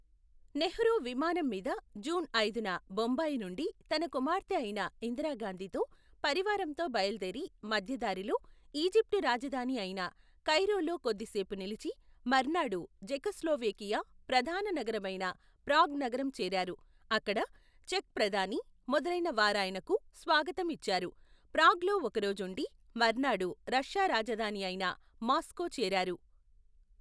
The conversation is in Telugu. నెహ్రూ విమానం మీద, జూన్ ఐదున, బొంబాయి నుండి, తన కుమార్తె అయిన, ఇందిరాగాంధితో, పరివారంతో బయలుదేరి, మధ్యదారిలో, ఈజిప్టు రాజధాని అయిన, కైరోలో కొద్దిసేపు నిలిచి, మర్నాడు, జెకొస్లోవేకియా, ప్రధాననగరమైన, ప్రాగ్ నగరం చేరారు, అక్కడ, చెక్ ప్రధాని, మొదలైన వారాయనకు, స్వాగతం ఇచ్చారు, ప్రాగ్ లో ఒకరోజుండి, మర్నాడు, రష్యా రాజధాని అయిన, మాస్కో చేరారు.